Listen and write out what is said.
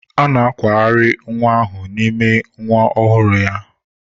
A na-akwagharị nwa ahụ n'ime nwa ọhụrụ ya.